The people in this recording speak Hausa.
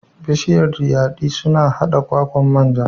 Bishiyar dayadii suna haɗa kwakwan manja.